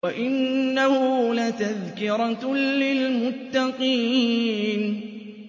وَإِنَّهُ لَتَذْكِرَةٌ لِّلْمُتَّقِينَ